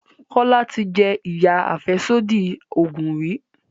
Kola tí jé iya afẹsodi oògùn rí.